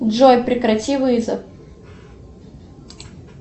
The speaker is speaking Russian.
джой прекрати вызов